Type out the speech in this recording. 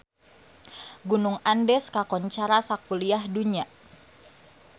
Gunung Andes kakoncara sakuliah dunya